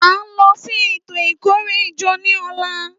À ń lọ sí ètò ìkórè ìjọ ní ọ̀la